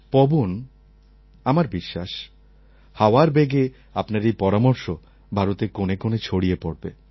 পবন আমার বিশ্বাস হাওয়ার বেগে আপনার এই পরামর্শ ভারতের কোণে কোণে ছড়িয়ে পড়বে